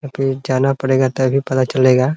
यहाँ पे जाना पड़ेगा तभी पता चलेगा।